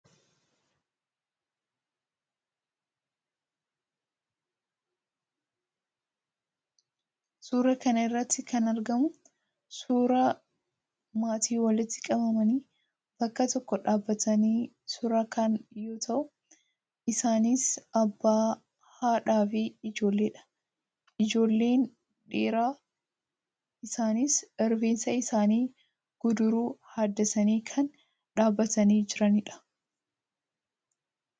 Suuraa kana irratti kan argamu suuraa maatii walitti qabamanii bakka tokko dhaabatanii suuraa ka'an yoo ta'u, isaanis: abbaa, haadhaa fi ijoolleedha. Ijoolleen dhiiraa isaaniis rifeensa isaanii guduruu haaddatanii kan dhaabbatanii jiranidha.